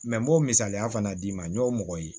n b'o misaliya fana d'i ma n y'o mɔgɔ ye